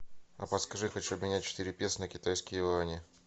а подскажи хочу обменять четыре песо на китайские юани